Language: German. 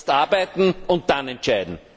Zuerst arbeiten und dann entscheiden.